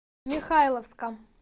михайловска